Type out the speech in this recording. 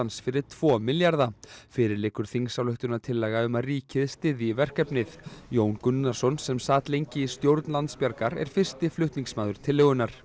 fyrir tvo milljarða fyrir liggur þingsályktunartillaga um að ríkið styðji verkefnið Jón Gunnarsson sem sat lengi í stjórn Landsbjargar er fyrsti flutningsmaður tillögunnar